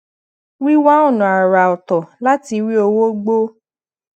wíwá ònà àrà oto láti rí owó gbó